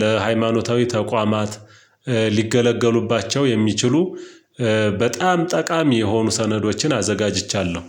ለሃይማኖታዊ ተቋማት ሊገለገሉባቸው የሚችሉ በጣም ጠቃሚ የሆኑ ሰነዶችን አዘጋጅቻለው።